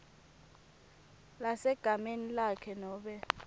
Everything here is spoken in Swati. lesegameni lakhe nobe